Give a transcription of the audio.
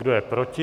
Kdo je proti?